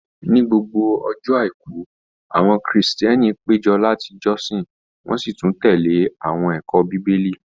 Ní gbogbo ọjọ́ àìkú, àwọn krìstìẹ́nì pé jọ láti jọ́sin wọ́n sì tún tẹ̀lé àwọn ẹ̀kọ́ Bíbélì.